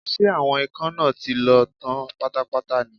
Ṣé àwọn ikán náà ti lọ tán pátápátá ní?